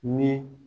Ni